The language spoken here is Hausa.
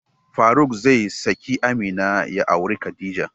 Faruk zai saki Amina ya auri Khadija.